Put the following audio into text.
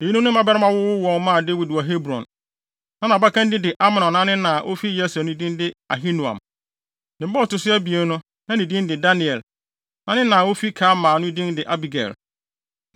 Eyinom ne mmabarima a wɔwowoo wɔn maa Dawid wɔ Hebron. Na nʼabakan din de Amnon a ne na a na ofi Yesreel no din de Ahinoam. Ne ba a ɔto so abien no, na ne din de Daniel. Na ne na a ofi Karmel no din de Abigail.